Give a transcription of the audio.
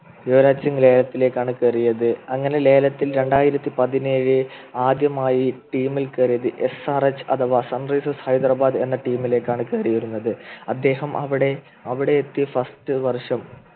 യുവരാജ് സിംഗ് ലേലത്തിലേക്കാണ് കയറിയത് അങ്ങനെ ലേലത്തിൽ രണ്ടായിരത്തി പതിനേഴു ആദ്യമായി team ൽ കയറിയത് SRH അഥവാ എന്ന Sunrises ഹൈദ്രബാദ് എന്ന team ലെക്കാണ് കയറിയിരുന്നത് അദ്ദേഹം അവിടെ അവിടെയെത്തി First വർഷം